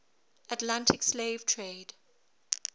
atlantic slave trade